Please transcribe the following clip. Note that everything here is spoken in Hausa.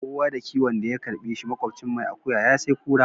Kowa da kiyon da ya karbe shi, makwafcin mai akuya ya sai kura.